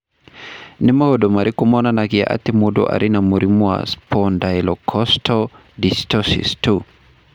Nĩ maũndũ marĩkũ monanagia atĩ mũndũ arĩ na mũrimũ wa Spondylocostal dysostosis 2?